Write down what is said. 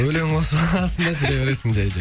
өлең қосасың да жүре бересің жай жай